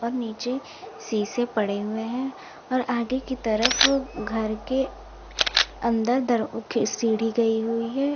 नीचे शीशे पड़े हुए हैं और आगे की तरफ घर के अंदर सीढ़ी गई हुई है।